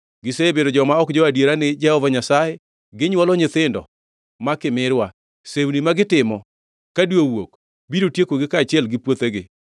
Gisebedo joma ok jo-adiera ni Jehova Nyasaye; ginywolo nyithindo ma kimirwa. Sewni ma gitimo ka dwe owuok biro tiekogi kaachiel gi puothegi.